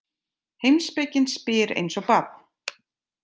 Heimspekin spyr eins og barn.